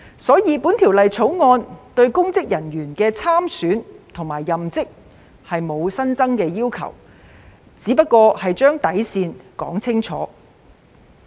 因此，《條例草案》對公職人員的參選及任職並無新增要求，只是把底線說清楚。